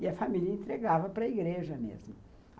E a família entregava para a igreja mesmo.